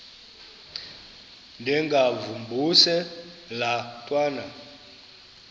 ndengakuvaubuse laa ntwana